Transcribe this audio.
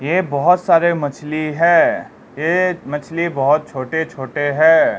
यह बहुत सारे मछली है ये मछली बहोत छोटे छोटे है।